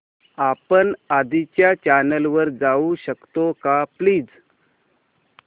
आपण आधीच्या चॅनल वर जाऊ शकतो का प्लीज